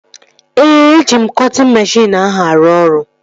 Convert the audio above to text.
Ee, eji m cọtịn meshịn ahụ arụ ọrụ